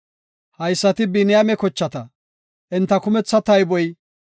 Haysati Biniyaame kochata; enta kumetha tayboy 45,600.